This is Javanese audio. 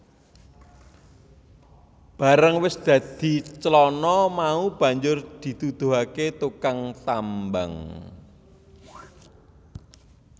Bareng wis dadi clana mau banjur diduduhake tukang tambang